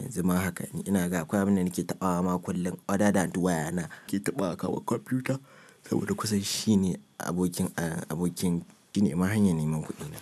Yanzu ma haka ina ga akwai abinda nake taɓawa ma kullum. Wada danta waya na ke taɓa aka wa kwamfuta saboda kusan shi ne abokin abokin gine ma hanyar neman kuɗi na.